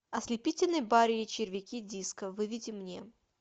ослепительный барри и червяки диско выведи мне